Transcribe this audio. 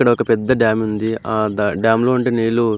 ఇక్కడొక పెద్ద డ్యామ్ ఉంది ఆ డ్యామ్ లో ఉండే నీళ్లు--